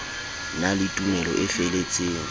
na le tumelo e feletseng